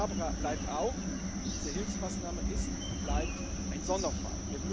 nicht gemacht hätten. Aber klar bleibt auch Diese Hilfsmaßnahme ist und